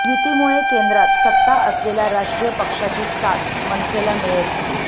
युतीमुळे केंद्रात सत्ता असलेल्या राष्ट्रीय पक्षाची साथ मनसेला मिळेल